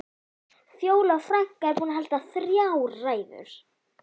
Fjóla frænka er búin að halda þrjár ræður.